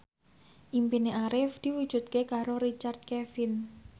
impine Arif diwujudke karo Richard Kevin